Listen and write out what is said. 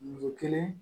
Muso kelen